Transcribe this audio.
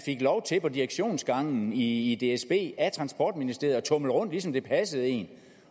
på direktionsgangen i i dsb af transportministeriet at tumle rundt ligesom det passede en